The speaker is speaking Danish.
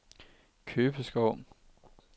Købeskov